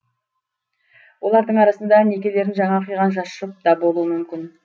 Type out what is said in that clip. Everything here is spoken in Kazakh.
олардың арасында некелерін жаңа қиған жас жұп та болуы мүмкін